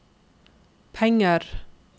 penger